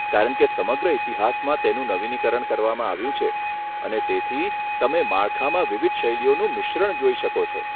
કારણ કે સમગ્ર ઇતિહાસમાં તેનું નવીનીકરણ કરવામાં આવ્યું છે, અને તેથી, તમે માળખામાં વિવિધ શૈલીઓનું મિશ્રણ જોઈ શકો છો.